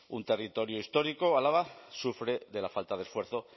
un territorio histórico álava sufre de la falta de esfuerzo